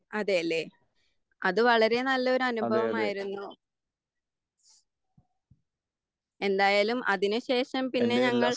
അതെ ലെ.അത് വളരെ നല്ല ഒരനുഭവമായിരുന്നു. എന്തായാലും അതിന് ശേഷം പിന്നെ ഞങ്ങൾ